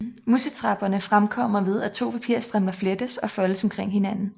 Musetrapperne fremkommer ved at to papirstrimler flettes og foldes omkring hinanden